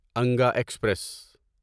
Anga express